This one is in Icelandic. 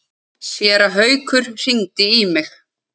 Séra Haukur hringdi í mig.